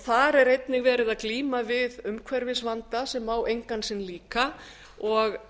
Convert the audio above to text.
þar er einnig verið að glíma við umhverfisvanda sem á engan sinn líka og